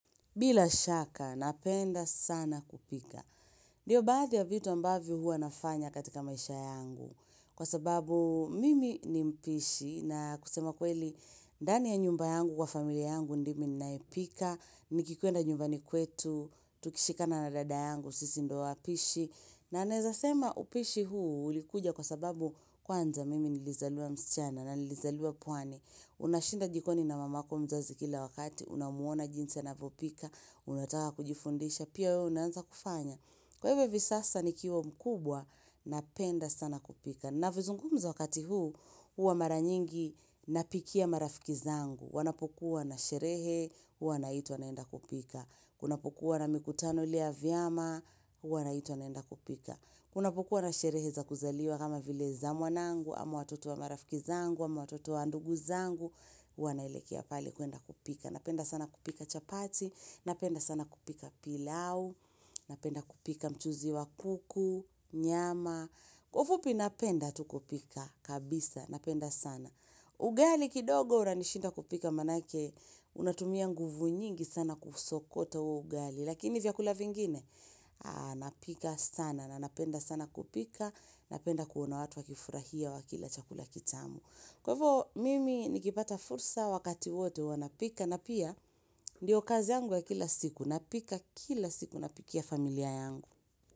Bila shaka, napenda sana kupika. Ndio baathi ya vitu ambavyo hua nafanya katika maisha yangu. Kwa sababu mimi ni mpishi na kusema kweli ndani ya nyumba yangu kwa familia yangu ndimi ninayepika. Nikikwenda nyumbani kwetu, tukishikana na dada yangu, sisi ndio wapishi. Na naweza sema upishi huu ulikuja kwa sababu kwanza mimi nilizaliwa msichana na nilizaliwa pwani. Unashinda jikoni na mamako mzazi kila wakati, unamwona jinsi anavyopika. Unataka kujifundisha, pia wewe unaanza kufanya. Kwa hivyo hivi sasa nikiwa mkubwa, napenda sana kupika. Na vizungumza wakati huu, huwa mara nyingi napikia marafiki zangu. Wanapokuwa na sherehe, huwa naitwa naenda kupika. Kunapokuwa na mikutano ile ya vyama, huwa naitwa naenda kupika. Kunapokuwa na sherehe za kuzaliwa kama vile za mwanangu, ama watoto wa marafiki zangu, ama watoto wa ndugu zangu, huwa naelekea pale kuenda kupika. Napenda sana kupika chapati, napenda sana kupika pilau, napenda kupika mchuzi wa kuku, nyama, kwa ufupi napenda tu kupika kabisa, napenda sana. Ugali kidogo unanishinda kupika manake, unatumia nguvu nyingi sana kuusokota huo ugali, lakini vyakula vingine, napika sana, na napenda sana kupika, napenda kuona watu wakifurahia wakila chakula kitamu. Kwa hivyo mimi nikipata fursa wakati wote huwa napika na pia ndio kazi yangu ya kila siku napika kila siku napikia familia yangu.